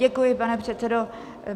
Děkuji, pane předsedo.